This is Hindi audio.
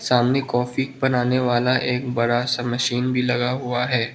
सामने कॉफी बनाने वाला एक बड़ा सा मशीन भी लगा हुआ है।